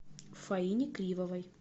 фаине кривовой